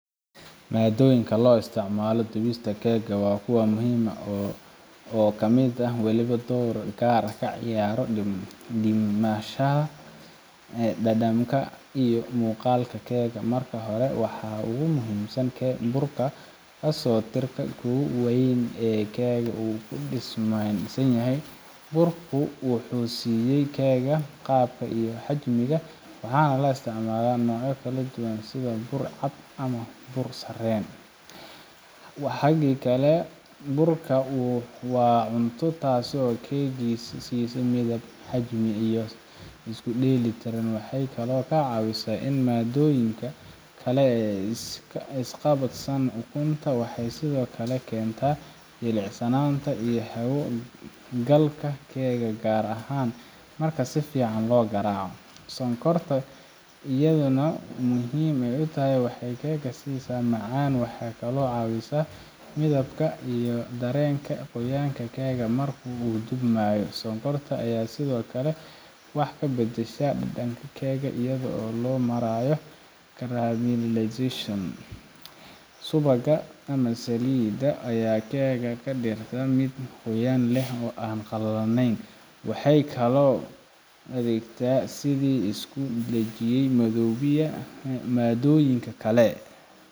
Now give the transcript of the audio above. maadooyinka loo isticmaalo dubista keega waa kuwa muhiim ah oo mid waliba door gaar ah ka ciyaaro dhismaha, dhadhanka, iyo muuqaalka keega marka hore waxaa ugu muhiimsan burka kaasoo ah tiirka ugu weyn ee keega uu ku dhisanyahay burku wuxuu siiya keega qaabka iyo xajmiga waxaana la isticmaalaa noocyo kala duwan sida bur cad ama bur sarreen ka xiga burka waa ukunta taasoo keega siisa midab, xajmi, iyo isku dheelitirnaan waxay kaloo ka caawisaa in maaddooyinka kale isqabsadaan ukunta waxay sidoo kale keentaa jilicsanaanta iyo hawo galka keega gaar ahaan marka si fiican loo garaaco sonkorta ayaa iyaduna muhiim ah waxay keega siisaa macaan waxay kaloo caawisaa midabka iyo dareenka qoyaanka keega markuu dubmayo sonkorta ayaa sidoo kale wax ka beddesha dhadhanka keega iyadoo loo marayo caramelization subagga ama saliidda ayaa keega ka dhigta mid qoyaan leh oo aan qalalin waxay kaloo u adeegtaa sidii isku dhajiye maaddooyinka kale